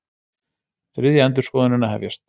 Þriðja endurskoðunin að hefjast